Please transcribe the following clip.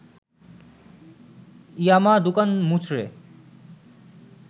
ইয়ামা দুকান মুচড়ে